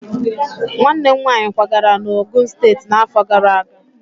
Nwanne m nwaanyị kwagara na Ogun steetị n'afọ gara aga.